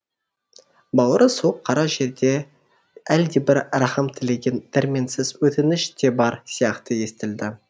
бауыры суық қара жердей әлдебір рахым тілеген дәрменсіз өтініш те бар сияқты естілді